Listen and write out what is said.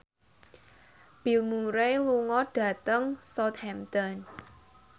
Bill Murray lunga dhateng Southampton